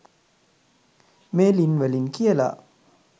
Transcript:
මේ ළිං වලින් කියලා